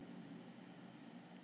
Þorfinnur, hvar er dótið mitt?